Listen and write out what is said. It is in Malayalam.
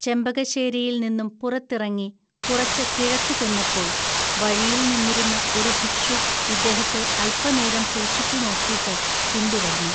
ചെമ്പകശ്ശേരിയിൽ നിന്നും പുറത്തിറങ്ങി കുറച്ച് കിഴക്കു ചെന്നപ്പോൾ വഴിയിൽ നിന്നിരുന്ന ഒരു ഭിക്ഷു ഇദ്ദേഹത്തെ അൽപനേരം സൂക്ഷിച്ചുനോക്കീട്ട് പിന്തുടർന്നു.